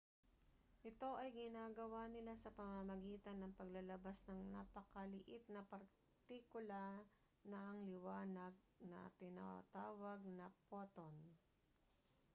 ito ay ginagawa nila sa pamamagitan ng paglalabas ng napakaliit na partikula ng liwanag na tinatawag na photon